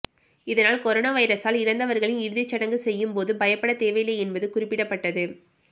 இதனால் கொரோனா வைரஸால் இறந்தவர்களின் இறுதிச் சடங்கு செய்யும் போது பயப்படத் தேவையில்லை என்பது குறிப்பிடப்பட்டது